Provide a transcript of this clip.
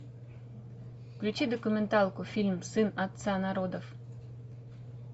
включи документалку фильм сын отца народов